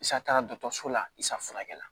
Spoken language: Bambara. Isa taga dɔgɔtɔrɔso la i safunakɛla